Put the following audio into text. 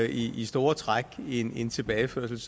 i i store træk en en tilbageførsel